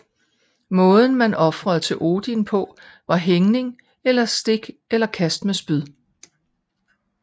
Måden man ofrede til Odin på var hængning og stik eller kast med spyd